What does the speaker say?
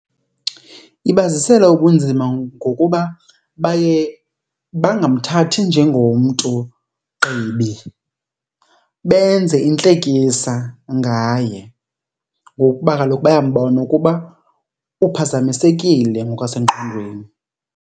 Ibazisela ubunzima ngokuba baye bangamthathi njengomntu gqibi, benze intlekisa ngaye ngokuba kaloku bayambona ukuba uphazamisekile ngokwasengqondweni.